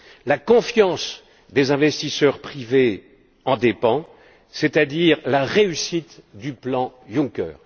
La confiance des investisseurs privés en dépend, c'est à dire la réussite du plan Juncker.